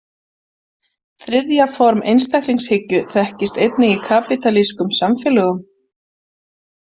Þriðja form einstaklingshyggju þekkist einnig í kapítalískum samfélögum.